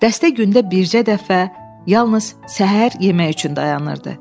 Dəstə gündə bircə dəfə yalnız səhər yemək üçün dayanırdı.